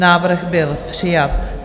Návrh byl přijat.